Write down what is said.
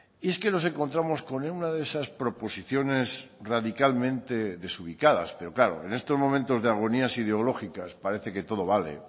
y es que nos encontramos con una de esas proposiciones radicalmente desubicadas pero claro en estos momentos de agonías ideológicas parece que todo vale